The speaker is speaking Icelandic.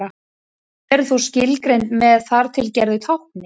Þau eru þó skilgreind með þar til gerðu tákni.